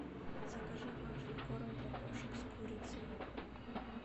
закажи влажный корм для кошек с курицей